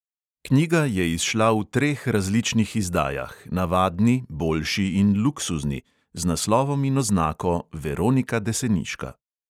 Knjiga je izšla v treh različnih izdajah, navadni, boljši in luksuzni, z naslovom in oznako "veronika deseniška".